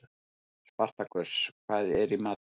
Spartakus, hvað er í matinn?